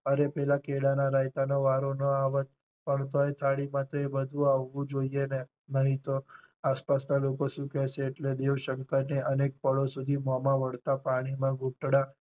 અરે પેલા કેળા ના રાયતા નો વારો ન આવત પણ તોય થાળી પાસે બધુ આવવું જોઈ ને નહીં તો આસપાસ ના લોકો શું કહેશે એટલે દેવશંકર ને અનેક પળો સુધી મોંમા વળતાં પાણી ના ઘૂટડા